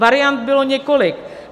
Variant bylo několik.